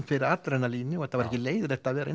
fyrir adrenalíni og það var ekki leiðinlegt að vera